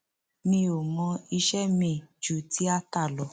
mi ò mọ iṣẹ miín ju tiata lọ